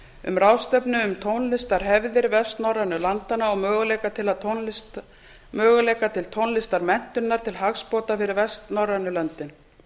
um ráðstefnu um tónlistarhefðir vestnorrænu landanna og möguleika til tónlistarmenntunar til hagsbóta fyrir vestnorrænu löndin